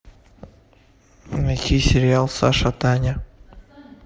найти сериал саша таня